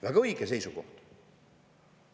Väga õige seisukoht!